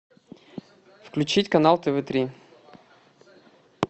включить канал тв три